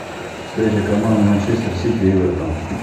встреча команд манчестер сити эвертон